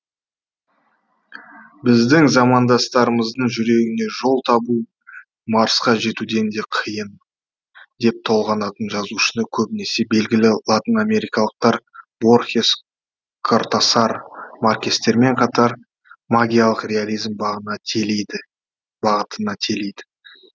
біздің замандастарымыздың жүрегіне жол табу марсқа жетуден де қиын деп толғанатын жазушыны көбінесе белгілі латын америкалықтар борхес кортасар маркестермен қатар магиялық реализм бағытына телиді